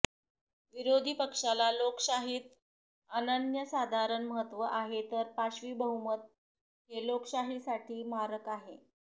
विरोधीपक्षाला लोकशाहीत अनन्यसाधारण महत्व आहे तर पाशवी बहुमत हे लोकशाहीसाठी मारक आहे